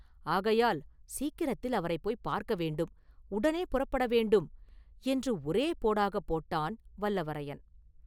ஆகையால் சீக்கிரத்தில் அவரைப் போய்ப் பார்க்க வேண்டும், உடனே புறப்பட வேண்டும்” என்று ஒரே போடாகப் போட்டான் வல்லவரையன்.